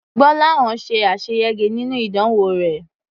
Gbọ́láhàn ṣe àṣeyege nínú ìdánwò rẹ̀.